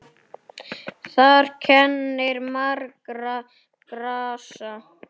Þar kennir margra grasa.